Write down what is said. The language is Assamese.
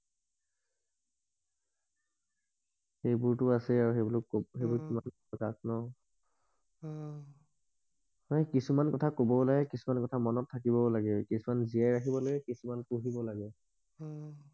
সেইবোৰ টো আছেই আৰু সেইবোৰ কত ন অ সেই কিছুমান কথা কব লাগে কিছুমান কথা মনত থাকিব লাগে কিছুমান জীয়াই ৰাখিব লাগে কিছুমান পূহিব লাগে অহ